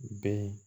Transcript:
Bɛn